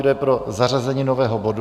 Kdo je pro zařazení nového bodu?